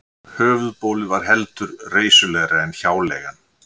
Höfuðbólið var heldur reisulegra en hjáleigan.